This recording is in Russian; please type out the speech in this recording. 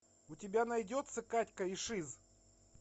у тебя найдется катька и шиз